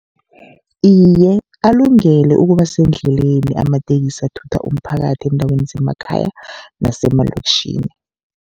Iye, alungele ukuba sendleleni amatekisi athutha umphakathi eendaweni zemakhaya nasemalokitjhini.